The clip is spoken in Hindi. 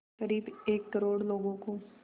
क़रीब एक करोड़ लोगों को